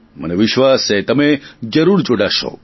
મને વિશ્વાસ છે તમે જરૂર જોડાશો